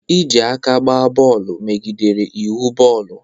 Iji aka gba bọọlụ megidere iwu bọọlụ.